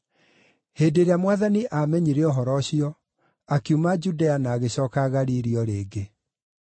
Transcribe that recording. Hĩndĩ ĩrĩa Mwathani aamenyire ũhoro ũcio, akiuma Judea na agĩcooka Galili o rĩngĩ.